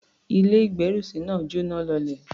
Ilé-ìgbérùsí náà jọ́náh lọlẹ̀.